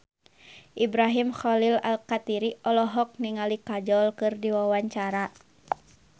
Ibrahim Khalil Alkatiri olohok ningali Kajol keur diwawancara